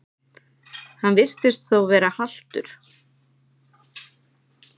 Hann virtist þó vera haltur.